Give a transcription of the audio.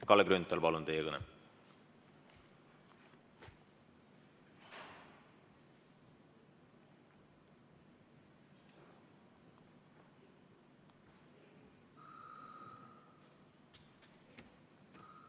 Kalle Grünthal, palun teie kõne!